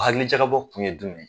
Hakilijakabɔ kun ye dumɛn ye?